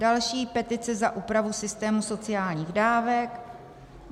Další, petice za úpravu systému sociálních dávek.